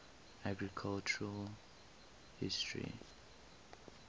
architectural history